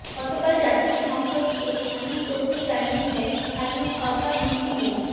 গতকাল জাতীয় সংসদকে এমন তথ্য জানিয়েছেন স্থানীয় সরকারমন্ত্রী মো